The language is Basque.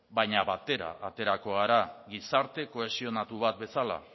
baina batera aterako gara gizarte kohesionatu bat bezala